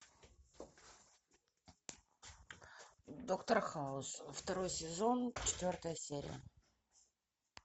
доктор хаус второй сезон четвертая серия